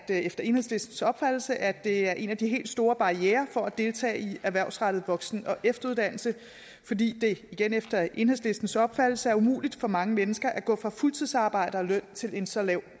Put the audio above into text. efter enhedslistens opfattelse at det er en af de helt store barrierer for at deltage i erhvervsrettet voksen og efteruddannelse fordi det igen efter enhedslistens opfattelse er umuligt for mange mennesker at gå fra fuldtidsarbejde og løn til en så lav